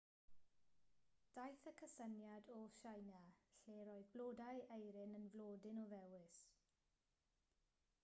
daeth y cysyniad o tsieina lle roedd blodau eirin yn flodyn o ddewis